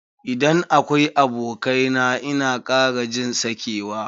Idan akwai abokai na ina kara jin sakewa.